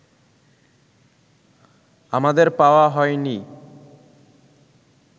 আমাদের পাওয়া হয়নিই